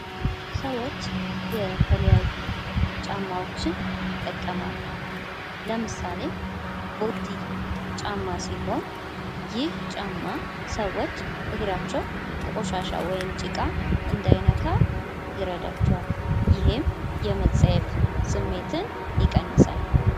ሰዎች የተለያዩ ጫማዎችን ይጠቀማሉ። ለምሳሌ ቦቲ ጫማ ሲሆን ይህ ጫማ ሰዎች እግራቸዉ ቆሻሻ ወይም ጭቃ እንዳይነካ ይረዳቸዋል። ይሄም የመፀየፍ ስሜትን ይቀንሳል።